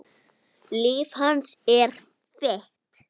Líf hans er þitt.